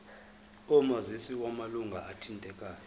omazisi wamalunga athintekayo